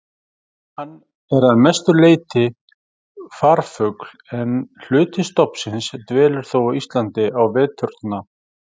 Hann er að mestu leyti farfugl en hluti stofnsins dvelur þó á Íslandi á veturna.